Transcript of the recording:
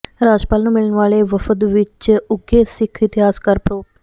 ਰਾਜਪਾਲ ਨੂੰ ਮਿਲਣ ਵਾਲੇ ਵਫਦ ਵਿੱਚ ਉਘੇ ਸਿੱਖ ਇਤਿਹਾਸਕਾਰ ਪ੍ਰੋ